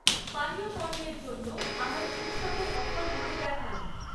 পানীয় পণ্যের জন্য আমায় উৎসবের অফারগুলো দেখান।